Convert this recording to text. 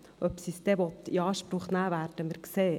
Ob sie es dann in Anspruch nehmen will, werden wir sehen.